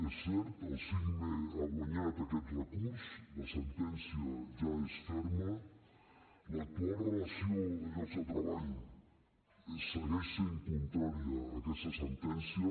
és cert el sicme ha guanyat aquest recurs la sentència ja és ferma l’actual relació de llocs de treball segueix sent contrària a aquesta sentència